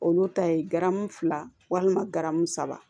Olu ta ye garamu fila walima garamu saba